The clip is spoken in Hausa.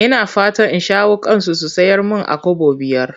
Ina fatan in shawo kansu su sayar mun a Kobo biyar.